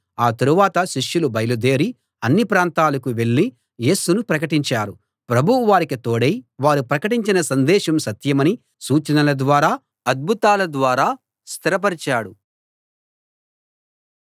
ఆ తరువాత శిష్యులు బయలుదేరి అన్ని ప్రాంతాలకూ వెళ్ళి యేసును ప్రకటించారు ప్రభువు వారికి తోడై వారు ప్రకటించిన సందేశం సత్యమని సూచనల ద్వారా అద్భుతాల ద్వారా స్థిరపరిచాడు